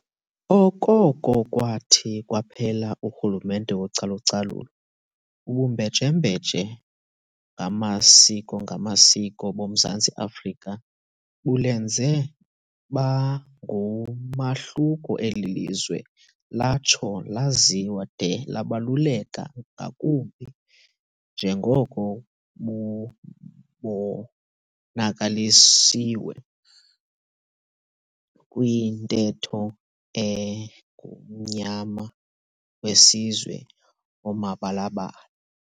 Okoko kwathi kwaphela urhulumente wocalu-calulo, ubumbejembeje ngamasiko-ngamasiko boMzantsi afrika bulenze bangumahluko eli lizwe latsho laziwa de labaluleka ngakumbi, njengoko bubonakalisiwe kwintetho enguMmnyama weSizwe omabala-bala.